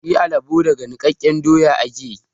Shi alabo daga nikkaken doya yake.